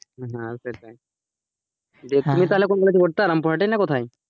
হ্যাঁ সেটাই, তুমি তাহলে কোন college এ পড়তে, রামপুরহাটে না কোথায়,